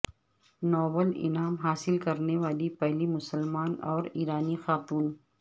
Nobel انعام حاصل کرنے والی پہلی مسلمان اور ایرانی خاتون